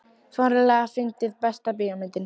fáránlega fyndið Besta bíómyndin?